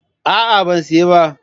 A'a ban siya ba.